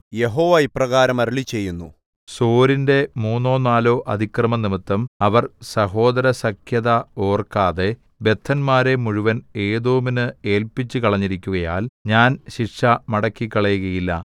യഹോവ ഇപ്രകാരം അരുളിച്ചെയ്യുന്നു സോരിന്റെ മൂന്നോ നാലോ അതിക്രമംനിമിത്തം അവർ സഹോദരസഖ്യത ഓർക്കാതെ ബദ്ധന്മാരെ മുഴുവൻ ഏദോമിന് ഏല്പിച്ചുകളഞ്ഞിരിക്കുകയാൽ ഞാൻ ശിക്ഷ മടക്കിക്കളയുകയില്ല